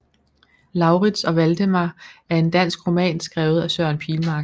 Laurits og Valdemar er en dansk roman skrevet af Søren Pilmark